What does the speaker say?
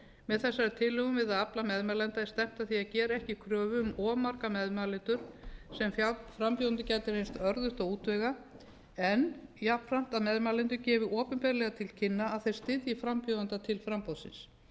með þessari tilhögun við að afla meðmælenda er stefnt að því að gera ekki kröfu um of marga meðmælendur sem frambjóðendum gæti reynst örðugt að útvega en jafnframt að meðmælendur gefi opinberlega til kynna að þeir styðji frambjóðanda til framboðsins